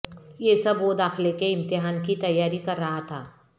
یہ سب وہ داخلے کے امتحان کی تیاری کر رہا تھا